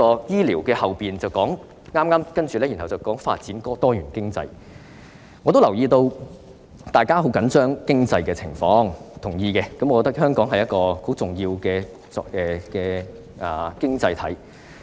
醫療部分之後是"發展多元經濟"，我留意到大家很緊張經濟狀況，我同意香港是一個很重要的經濟體。